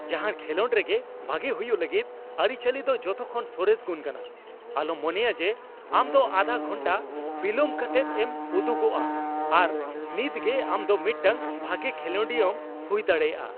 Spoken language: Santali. ᱡᱟᱦᱟᱱ ᱠᱷᱮᱞᱳᱰ ᱨᱮᱜᱮ ᱵᱷᱟᱜᱮ ᱦᱩᱭᱩᱜ ᱞᱟᱹᱜᱤᱫ ᱟᱹᱨᱤᱪᱟᱹᱞᱤ ᱫᱚ ᱡᱚᱛᱚᱠᱷᱚᱱ ᱥᱚᱨᱮᱥ ᱜᱩᱱ ᱠᱟᱱᱟ ᱾ ᱟᱞᱚᱢ ᱢᱚᱱᱮᱭᱟ ᱡᱮ ᱟᱢ ᱫᱚ ᱟᱫᱷᱟ ᱜᱷᱚᱱᱴᱟ ᱵᱤᱞᱚᱱ ᱠᱟᱛᱮᱫ ᱮᱢ ᱩᱫᱩᱜᱚᱜᱼᱟ ᱟᱨ ᱱᱤᱛ ᱜᱮ ᱟᱢ ᱫᱚ ᱢᱤᱫᱴᱟᱝ ᱵᱷᱟᱜᱮ ᱠᱷᱮᱞᱳᱰᱤᱭᱟᱹᱢ ᱦᱩᱭ ᱫᱟᱲᱮᱭᱟᱜᱼᱟ ᱾